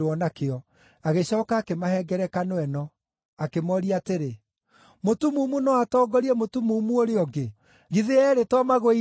Agĩcooka akĩmahe ngerekano ĩno, akĩmooria atĩrĩ, “Mũtumumu no atongorie mũtumumu ũrĩa ũngĩ? Githĩ eerĩ to magũe irima?